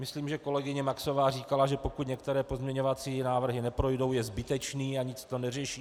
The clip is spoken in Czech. Myslím, že kolegyně Maxová říkala, že pokud některé pozměňovací návrhy neprojdou, je zbytečný a nic to neřeší.